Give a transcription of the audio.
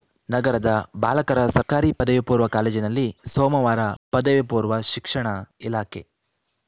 ನಗರದ ಬಾಲಕರ ಸರ್ಕಾರಿ ಪದವಿಪೂರ್ವ ಕಾಲೇಜಿನಲ್ಲಿ ಸೋಮವಾರ ಪದವಿಪೂರ್ವ ಶಿಕ್ಷಣ ಇಲಾಖೆ